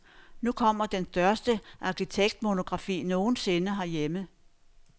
Nu kommer den største arkitektmonografi nogen sinde herhjemme.